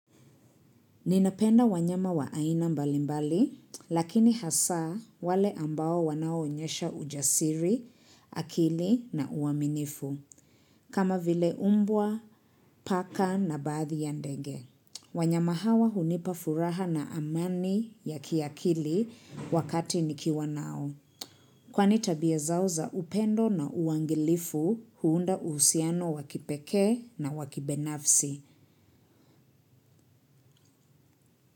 Ninapenda wanyama wa aina mbalimbali, lakini hasa wale ambao wanao onyesha ujasiri, akili na uaminifu, kama vile mbwa, paka na baadhi ya ndege. Wanyama hawa hunipa furaha na amani ya kiakili wakati nikiwa nao. Kwani tabia zao za upendo na uangalifu huunda uhusiano wakipekee na wa kibinafsi.